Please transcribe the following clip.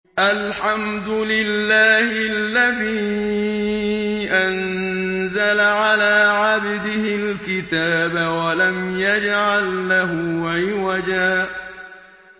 الْحَمْدُ لِلَّهِ الَّذِي أَنزَلَ عَلَىٰ عَبْدِهِ الْكِتَابَ وَلَمْ يَجْعَل لَّهُ عِوَجًا ۜ